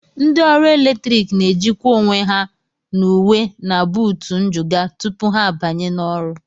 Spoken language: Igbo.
Ndị ọrụ eletrik na-ejikwa onwe ha n'uwe na buutu njụga tupu ha abanye n'ọrụ